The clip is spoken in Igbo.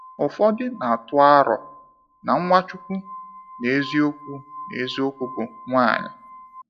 Ụfọdụ na atụ aro na Nwachukwu n’eziokwu n’eziokwu bụ nwanyị.